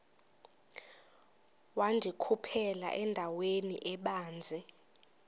wandikhuphela endaweni ebanzi